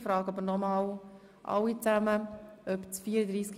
Ich frage nochmals, ob das Traktandum 34 bestritten ist.